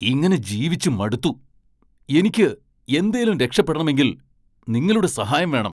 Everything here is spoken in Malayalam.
ഇങ്ങനെ ജീവിച്ചു മടുത്തു! എനിക്ക് എന്തേലും മെച്ചപ്പെടണമെങ്കിൽ നിങ്ങളുടെ സഹായം വേണം!